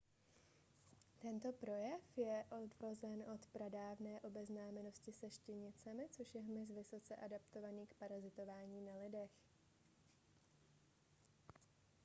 tento pojem je odvozen od pradávné obeznámenosti se štěnicemi což je hmyz vysoce adaptovaný k parazitování na lidech